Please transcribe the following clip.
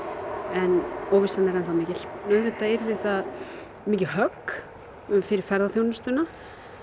en óvissan er enn þá mikil auðvitað yrði það mikið högg fyrir ferðaþjónustuna